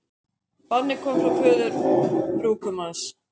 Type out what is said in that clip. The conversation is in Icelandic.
Bannið kom frá föður brúðgumans